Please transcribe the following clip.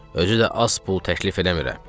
Özü də az pul təklif eləmirəm.